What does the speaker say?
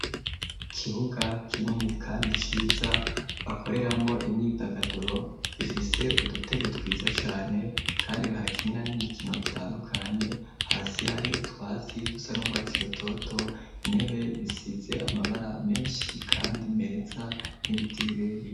Ikibuga kinini kandi ciza bakoreramo imyidagaduro gifise udutebe twiza cane kandi bahakinina n'imikino itandukanye hasi hari utwatsi dusa n'ubwatsi rutoto intebe bisize amabara menshi kandi meza n'ibiti birebire.